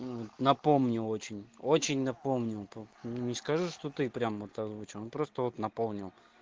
напомни очень-очень напомнил так не скажу что ты прям озвучил он просто вот напомнил